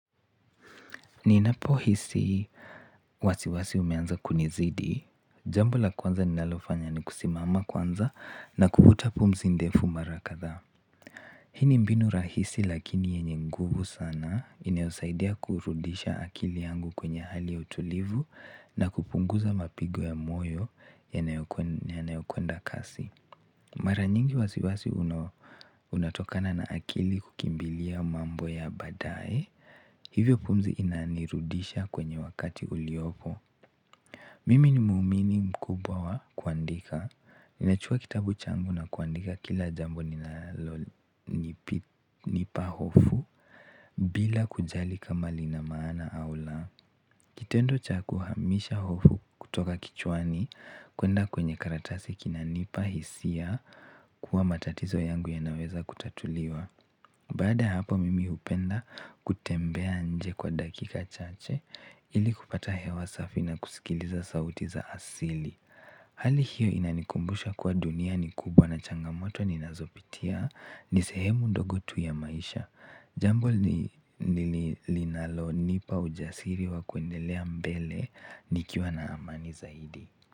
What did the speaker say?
Ninapohisi wasiwasi umeanza kunizidi jambo la kwanza ninalofanya ni kusimama kwanza na kuvuta pumzi ndefu mara kadhaa. Hiini mbinu rahisi lakini yenye nguvu sana inayosaidia kurudisha akili yangu kwenye hali ya utulivu na kupunguza mapigo ya moyo ya nayokwenda kasi. Maranyingi wasiwasi unatokana na akili kukimbilia mambo ya baadaye hivyo pumzi inanirudisha kwenye wakati uliopo mimi ni muumini mkubwa wa kuandika ninachukua kitabu changu na kuandika kila jambo linalo nipa hofu bila kujali kama lina maana au la kitendo cha kuhamisha hofu kutoka kichwani kwenda kwenye karatasi kina nipa hisia kuwa matatizo yangu ya naweza kutatuliwa baada hapo mimi hupenda kutembea nje kwa dakika chache ili kupata hewa safi na kusikiliza sauti za asili hali hiyo inanikumbusha kuwa dunia ni kubwa na changamoto ni nazopitia nisehemu ndogotu ya maisha jambo linalo nipa ujasiri wa kwendelea mbele nikiwa na amani zaidi.